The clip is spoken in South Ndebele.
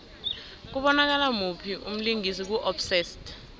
kubonakala muphi umlingisi ku obsessed